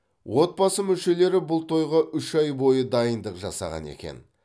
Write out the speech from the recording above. отбасы мүшелері бұл тойға үш ай бойы дайындық жасаған екен